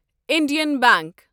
Indian bank